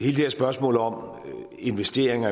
det her spørgsmål om investeringer